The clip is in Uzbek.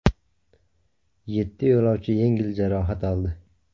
Yetti yo‘lovchi yengil jarohat oldi.